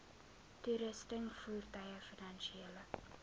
toerusting voertuie finansiële